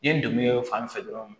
N ye n dɛmɛ fan fɛ dɔrɔn